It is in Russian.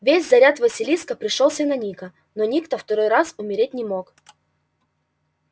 весь заряд василиска пришёлся на ника но ник-то второй раз умереть не мог